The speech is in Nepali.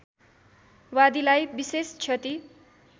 वादीलाई विशेष क्षति